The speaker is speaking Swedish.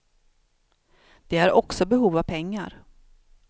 De har också behov av pengar.